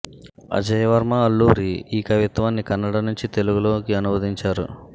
అజయ్ వర్మ అల్లూరి ఈ కవిత్వాన్ని కన్నడ నుంచి తెలుగులోకి అనువదించారు